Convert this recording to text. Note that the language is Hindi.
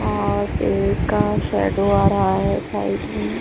और पेड़ का शॅडोव आ रहा है साइड में--